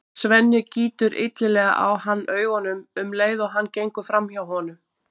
Svenni gýtur illilega á hann augunum um leið og hann gengur fram hjá honum.